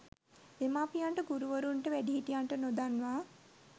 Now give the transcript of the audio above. දෙමාපියන්ට, ගුරුවරුන්ට, වැඩිහිටියන්ට, නොදන්වා